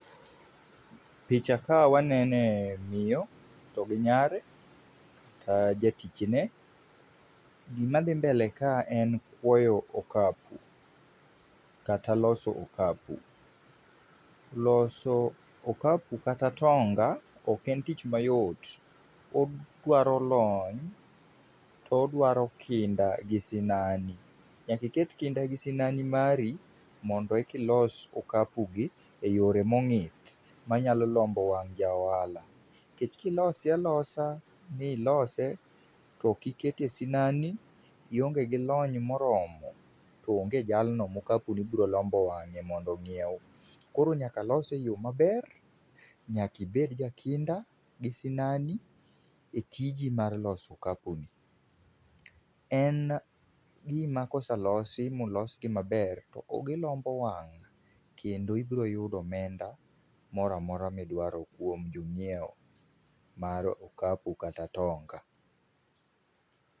Picha ka wanene miyo to gi nyare, jatichne. Gima dhi mbele ka en kwoyo okapu kata loso okapu. Loso okapu kata atonga ok en tich ma yot. Odwaro lony to odwaro kinda gi sinani. Nyaka iket kinda gi sinani mari mondo eki ilos okapu gi e yore mongith manyalo lombo wang' ja ohala. Nikech kilose alosa milose to ok iketo e sinani ionge gi lony ma oromo to onge jalno ma okapu ni biro lombo wang'e mondo ong'iew. Koro nyaka lose e yo maber, nyaka ibed ja kinda gi sinani e tiji mar loso okapu ni. En gima ka oselosi molosgi maber to gilombo wang' kendo ibiro yudo omenda moro amora midwaro kuom jo ng'iewo mar okapu kata atonga.